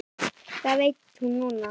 Það veit hún núna.